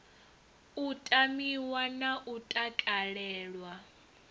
u tamiwa na u takalelwa